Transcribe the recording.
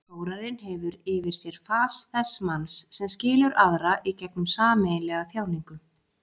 Þórarinn hefur yfir sér fas þess manns sem skilur aðra í gegnum sameiginlega þjáningu.